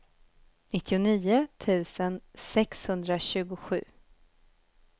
nittionio tusen sexhundratjugosju